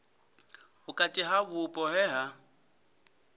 vhukati ha vhupo he ha